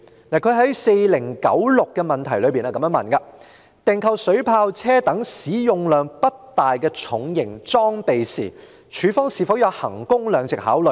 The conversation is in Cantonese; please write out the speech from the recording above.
他在問題編號4096中問到："訂購水炮車等使用量不大的重型裝備時，是否有'衡工量值'的考慮？